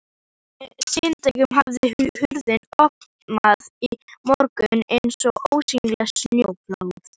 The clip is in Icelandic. Síðdegið hafði hrunið ofan í morguninn eins og ósýnilegt snjóflóð.